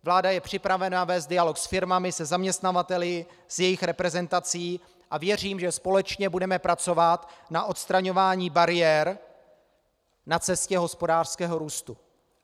Vláda je připravena vést dialog s firmami, se zaměstnavateli, s jejich reprezentací a věřím, že společně budeme pracovat na odstraňování bariér na cestě hospodářského růstu.